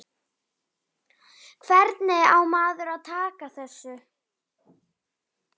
Hvernig á maður að taka þessu?